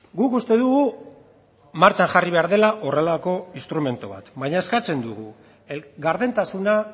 guk uste dugu martxan jarri behar dela horrelako instrumentu bat baina eskatzen dugu gardentasuna